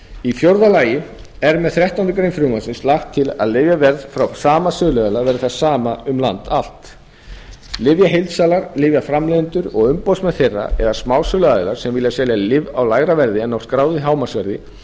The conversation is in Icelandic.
í fjórða lagi er með þrettándu greinar frumvarpsins lagt til að lyfjaverð frá sama söluaðila verði það sama um land allt lyfjaheildsalar lyfjaframleiðendur og umboðsmenn þeirra eða smásöluaðilar sem vilja selja lyf á lægra verði en á skráðu hámarksverði